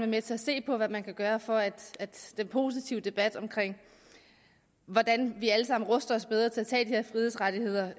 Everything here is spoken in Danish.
med til at se på hvad man kan gøre for at den positive debat om hvordan vi alle sammen ruster os bedre til at tage de her frihedsrettigheder